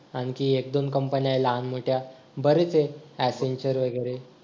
आणखी एक दोन company आहेत लहान-मोठ्या बरेच आहे adventure वगैरे